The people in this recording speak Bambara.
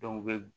u bɛ